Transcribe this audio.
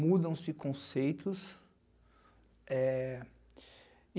Mudam-se conceitos.